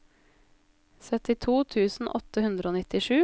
syttito tusen åtte hundre og nittisju